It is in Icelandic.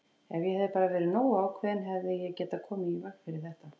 Ef ég hefði bara verið nógu ákveðinn hefði ég getað komið í veg fyrir þetta!